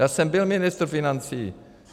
Já jsem byl ministr financí.